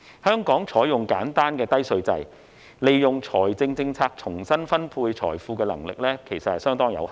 香港採用簡單低稅制，利用財政政策重新分配財富的能力其實相當有限。